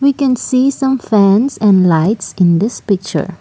we can see some fans and lights in this picture.